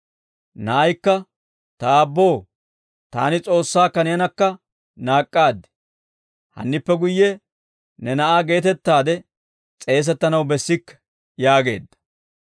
«Na'aykka, ‹Ta aabboo, taani S'oossaakka neenakka naak'k'aad; hannippe guyye ne na'aa geetettaade s'eesettanaw bessikke› yaageedda.